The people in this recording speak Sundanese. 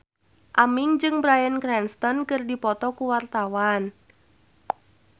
Aming jeung Bryan Cranston keur dipoto ku wartawan